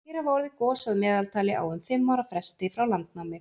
hér hafa orðið gos að meðaltali á um fimm ára fresti frá landnámi